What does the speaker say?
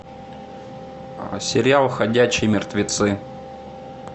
сериал ходячие мертвецы